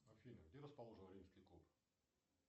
афина где расположен римский куб